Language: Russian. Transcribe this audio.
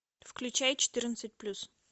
включай четырнадцать плюс